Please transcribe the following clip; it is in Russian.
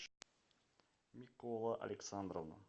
микола александровна